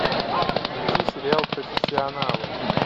включи сериал профессионалы